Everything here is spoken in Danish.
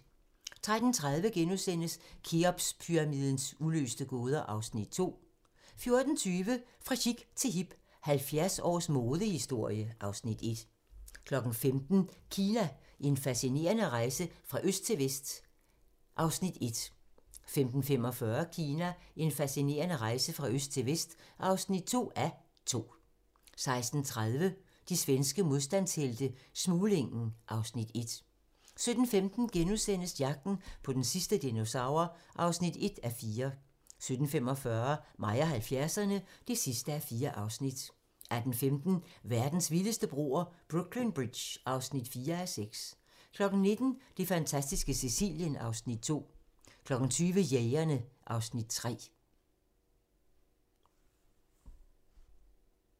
13:30: Kheopspyramidens uløste gåder (Afs. 2)* 14:20: Fra chic til hip - 70 års modehistorie (Afs. 1) 15:00: Kina - en fascinerende rejse fra øst til vest (1:2) 15:45: Kina - en fascinerende rejse fra øst til vest (2:2) 16:30: De svenske modstandshelte - Smuglingen (Afs. 1) 17:15: Jagten på den sidste dinosaur (1:4)* 17:45: Mig og 70'erne (4:4) 18:15: Verdens vildeste broer - Brooklyn Bridge (4:6) 19:00: Det fantastiske Sicilien (Afs. 2) 20:00: Jægerne (Afs. 3)